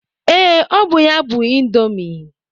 Ee, ọ bụ ya bụ ịndomii.